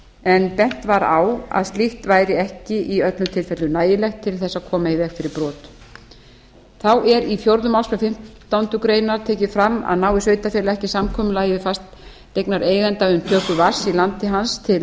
en bent var á að slíkt væri ekki í öllum tilfellum nægilegt til að hægt væri að koma í veg fyrir brot þá er í fjórðu málsgrein fimmtándu grein tekið fram að nái sveitarfélag ekki samkomulagi við fasteignareiganda um töku vatns í landi hans til